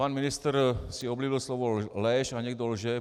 Pan ministr si oblíbil slovo lež a někdo lže.